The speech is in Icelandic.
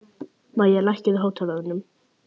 Mæja, lækkaðu í hátalaranum.